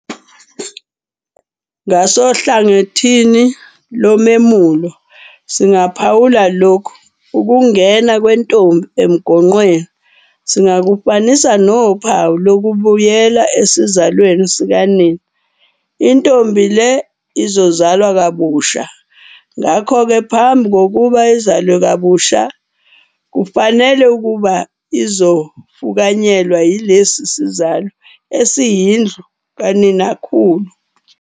Ngasohlangothini lomemulo singaphawula lokhu- ukungena kwentombi emgonqweni singakufanisa nophawu lokubuyela esizalweni sikanina. Intombi le izozalwa kabusha ngakho-ke ngaphambi kokuba izalwe kabusha, kufanele ukuba izofukanyelwa yilesi sizalo esiyindlu kaninakhulu.